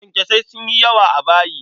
Kyankyasai sun yi yawa a bayi.